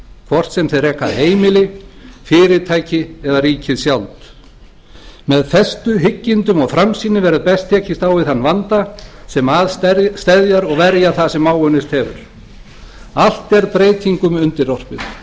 hvort sem þeir reka heimili fyrirtæki eða ríkið sjálft með festu hyggindum og framsýni verður best tekist á við þann vanda sem að steðjar og verja það sem áunnist hefur allt er breytingum undirorpið sá sem gæti séð þróun